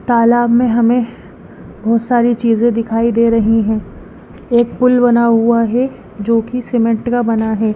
तालाब में हमें बहोत सारी चीजे दिखाई दे रही हैं एक पुल बना हुआ है जोकि सीमेंट का बना है।